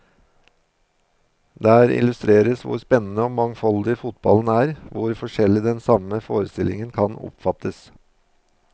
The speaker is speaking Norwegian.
Der illustreres hvor spennende og mangfoldig fotballen er, hvor forskjellig den samme forestillingen kan oppfattes.